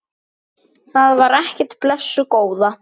Það var ekkert, blessuð góða.